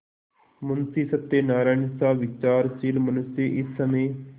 मुंशी सत्यनारायणसा विचारशील मनुष्य इस समय